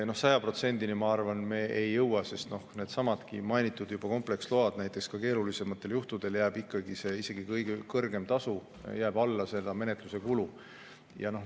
Ma arvan, et me 100%-ni ei jõua, sest needsamad mainitud kompleksload näiteks, ka keerulisematel juhtudel jääb kõige kõrgem tasu ikkagi alla menetluse kulu.